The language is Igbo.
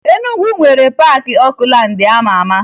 Enugwu nwere Paakị Okulaandị a ma ama